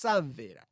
samvera.